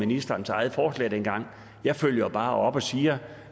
ministerens eget forslag dengang jeg følger bare op og siger